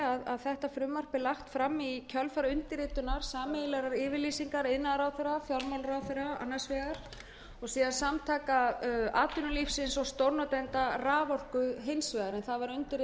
þetta frumvarp er lagt fram í kjölfar undirritunar sameiginlegrar yfirlýsingar iðnaðarráðherra og fjármálaráðherra annars vegar og samtaka atvinnulífsins og stórnotenda raforku hins vegar en